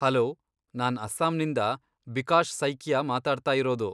Hello! ನಾನ್ ಅಸ್ಸಾಂನಿಂದ ಬಿಕಾಶ್ ಸೈಕಿಯಾ ಮಾತಾಡ್ತಾಯಿರೋದು.